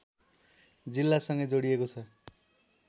जिल्लासँगै जोडिएको छ